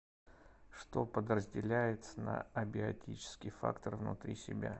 что подразделяется на абиотический фактор внутри себя